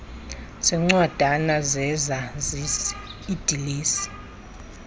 zeencwadana zezazisi iidilesi